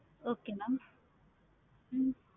okay ma'am hmm